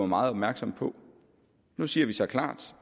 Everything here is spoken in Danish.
meget opmærksomme på nu siger vi så klart